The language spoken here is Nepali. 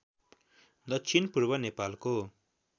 दक्षिण पूर्व नेपालको